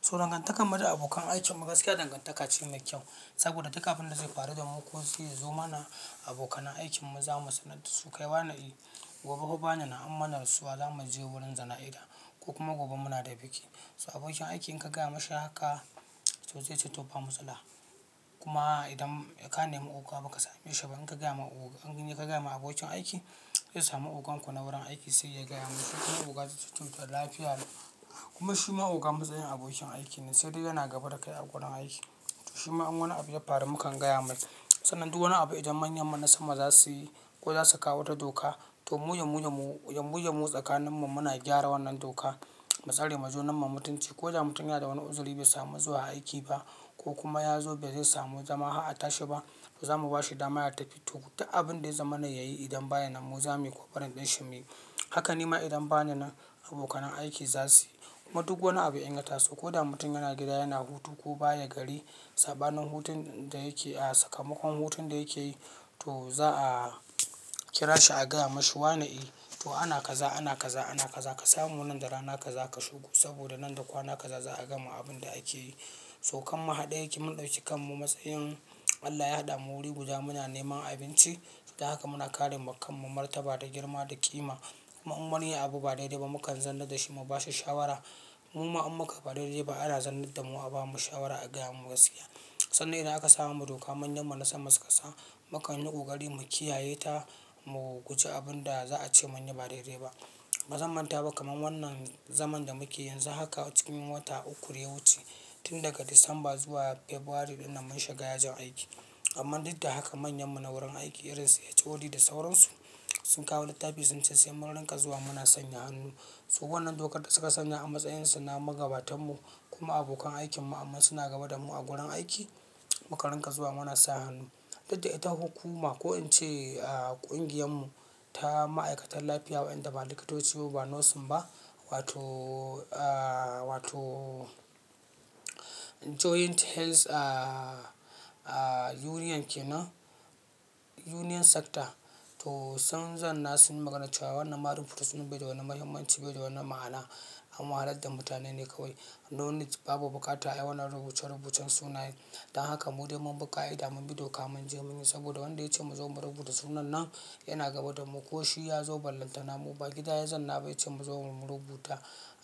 So dangantakar mu da abokan aikin mu gaskiya dangantaka ce mai kyau saboda duk abin da zai faru da mu ko zaizo mana abokanan aikin mu za mu sanar da su kai wa ne eh. Gobe fa bananan amana rasuwa za mu je wurin jana'iza ko kuma gobe muna da biki. To abokin aiki in ka gaya mashi haka to zai ce to ba matsala. Kuma idan ka nema oga ba ka same shi ba in ka gaya ma oga in ka gaya ma abokin aiki zai samu ogan ku na wurin aiki sai ya gaya masa. Kuma oga zai ce to lafiya yau kuma shi ma oga matsayin abokin aiki ne sai dai yana gaba da kai a gurin aiki. To shi ma in wani abu ya faru mu kan gaya mai. Sannan duk wani abu idan manyan mu na sama za su yi ko za su kawo wata doka, to mu ya mu ya mu ya mu ya mu tsakanin mu muna gyara wannan doka. Matsarema junan mu mutunci ko da mutum yana da wani uzuri bai samu zuwa aiki ba ko kuma ya zo bezai samu zama ha tashi ba, za mu bashi dama ya tafi toh. Duk abin da ya zama na yayi idan ba ya nan mu za mu yi ko karin ɗoshi mu yi. Haka nima idan ba na nan abokanan aiki za su yi. Kuma duk wani abu in ya taso ko da mutum yana gida yana hutu ko baya gari sabanin hutun da yake a sakamakon hutun da yake yi, to za a kira shi a gaya mashi wane eh to ana kaza, ana kaza, ana kaza ka samu nan da rana kaza ka shigo saboda nan da kwana kaza za a gama abin da ake yi. To kan muhade yake mun ɗauki kan mu matsayin Allah ya haɗa mu wuri guda muna neman abinci. Ta haka muna ƙare ma kan mu martaba da girma da ƙima. Kuma in wani abu ba daidai ba mu kan zan nadda shi mu bashi shawara. Mu ma in muka ba daidai ba ana zarnar da mu a bamu shawara a gaya mun gaskiya. Sannan idan aka samu doka manyan mu na sama suka sa mu kan yi kukarimu kiyaye ta mu guji abin da za a ce manyi ba daidai ba. Ba zan manta ba kamar wannan zaman da muke yanzu haka cikin wata uku daya wuce. Tin daga Disamba zuwa Febwari ɗin nan mun shiga yajin aiki. Amma duk da haka manyan mu na wurin aiki irin su HOD da sauransu sun kawo littafi sun ce sai murinka zuwa mu na sanya hannu. So wannan dokar da suka sanya a matsayin su na magabatan mu kuma abokan aikin mu amma suna gaba da mu a gurin aiki. Mu ka rinka zuwa mu na sa hannu. Duk da ita hukuma ko in ce ƙungiyan mu ta ma'aikatan lafiya waɗanda ba likitoci ba, ba nosin ba wato, wato Joint Health a Union ke nan Union Sector to sun zanna sun maganan cewa wannan marin furissin bai da wani mahimmanci bai da wani ma'ana. An waha ladda mutane ne kawai. No need babu buƙata a yi wannan rubuce rubucen sunayen. Dan haka mu dai mun biƙa ida mun bi doka mun je mun yi saboda wanda ya ce mu zo mu rubuta sunan nan yana gaba da mu ko shi ya zo ba lantana mu ba gida ya zanna ba ce mu zo mu rubuta,